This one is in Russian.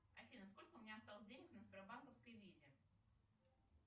афина сколько у меня осталось денег на сбербанковской визе